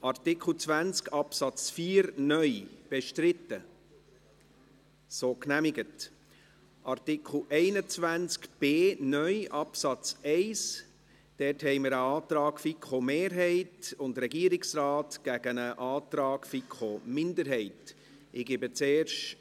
Zu Artikel 21b (neu) Absatz 1, liegt uns ein Antrag der FiKo-Mehrheit und des Regierungsrates sowie ein Antrag der FiKo-Minderheit vor.